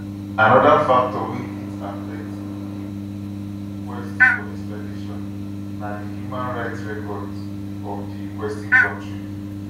anoda factor wey fit affect di um request for extradition na di human rights records of di requesting kontri